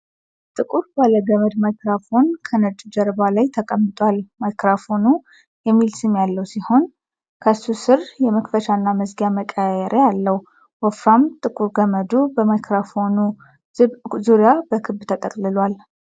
ጥቁር ባለገመድ ማይክሮፎን ከነጭ ጀርባ ላይ ተቀምጧል። ማይክሮፎኑ የሚል ስም ያለው ሲሆን፣ ከሱ ስር የመክፈቻና መዝጊያ መቀየሪያ አለው። ወፍራም ጥቁር ገመዱ በማይክሮፎኑ ዙሪያ በክብ ተጠቅልሏል።